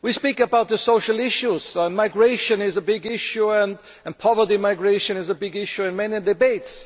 We talk about the social issues migration is a big issue, and poverty migration is a big issue in many debates.